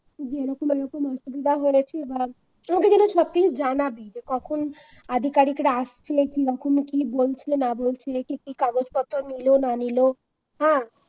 এরকম এরকম অসুবিধা করেছে বা তুই আমাকে সবকিছু জানাবি। যখন আধিকারিকরা আসছে কি রকম কি বলছে না বলছে কি কি কাগজপত্র নিলো না নিল হ্যাঁ